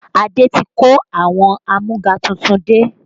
Adé ti kó àwọn amúga tuntun dé